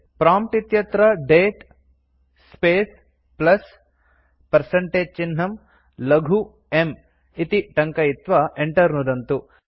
prompt इत्यत्र दते space plus percentage चिह्नं लघु m इति टङ्कयित्वा enter नुदन्तु